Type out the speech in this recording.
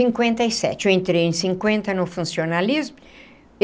Cinquenta e sete eu entrei em cinquenta no funcionalismo.